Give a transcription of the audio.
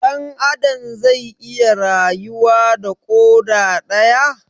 Dan Adam zai iya rayuwa da koda daya?